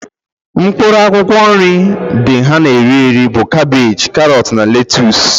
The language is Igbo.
Mkpụrụ akwụkwọ nri dị ha na ere bụ kabeji, karọt na letuse